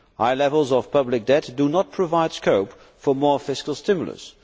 High levels of public debt do not provide scope for more fiscal stimulus.